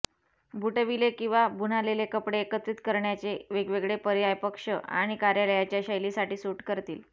बुटविले किंवा बुनालेले कपडे एकत्रित करण्याचे वेगवेगळे पर्याय पक्ष आणि कार्यालयाच्या शैलीसाठी सूट करतील